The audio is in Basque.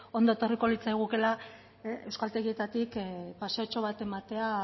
ongi etorriko litzaigukela euskaltegietatik paseotxo bat ematea